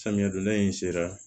Samiya donda in sera